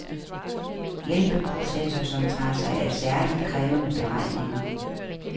Hjælpeprocessor, som tager sig af særligt krævende beregninger.